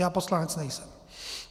Já poslanec nejsem.